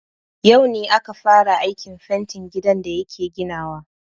Yau ne aka fara aikin fentin gidan da yake ginawa.